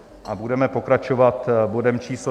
A budeme pokračovat bodem číslo